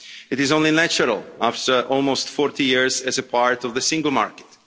It is only natural after almost 40 years as a part of the single market.